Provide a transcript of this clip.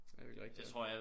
Det virkelig rigtig ja